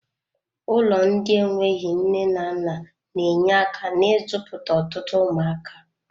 Ụlọ ndị enweghị nne na nna na-enye aka n'izụputa ọtụtụ ụmụaka.